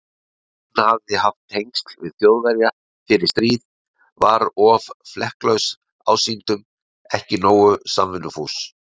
Hann hafði haft tengsl við Þjóðverja fyrir stríð, var of flekklaus ásýndum, ekki nógu samvinnufús.